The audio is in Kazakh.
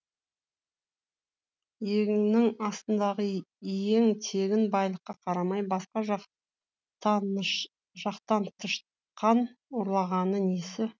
иегінің астындағы иен тегін байлыққа қарамай басқа жақтантышқан ұрлағаны несі